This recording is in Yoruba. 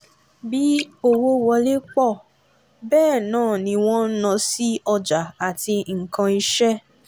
bí owó wọlé pọ̀ bẹ́ẹ̀ náà ni wọn ń ná sí ọjà àti nkan iṣẹ́.